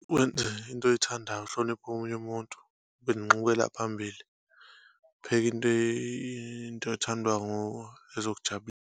Wenze into oyithandayo, uhloniphe omunye umuntu, ube nenxukela phambili, upheke into into ethandwa nguwe, ezokujabulisa.